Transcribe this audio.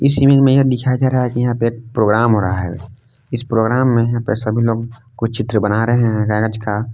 इस शिविंग में यह दिखाई दे रहा है कि यहां पे एक प्रोग्राम हो रहा है। इस प्रोग्राम में यहां पे सभी लोग कुछ चित्र बना रहे हैं कागज का।